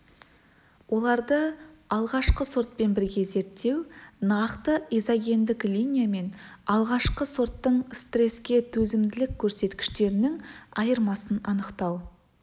оларды алғашқы сортпен бірге зерттеу нақты изогендік линия мен алғашқы сорттың стреске төзімділік көрсеткіштерінің айырмасын анықтау